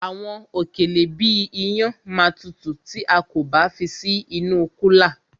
Àwọn òkèlè bíi iyán ma tutù tí a kò bá fi sí inú kúlà.